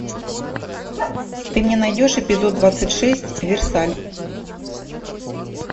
ты мне найдешь эпизод двадцать шесть версаль